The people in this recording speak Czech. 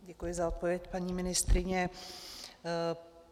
Děkuji za odpověď, paní ministryně.